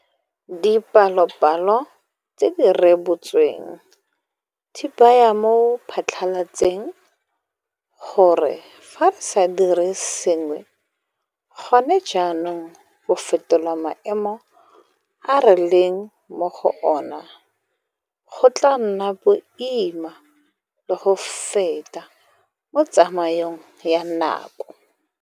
Dipalopalo tse di rebotsweng di baya mo phatlalatseng gore fa re sa dire sengwe gona jaanong go fetola maemo a re leng mo go ona, go tla nna boima le go feta mo tsamaong ya nako.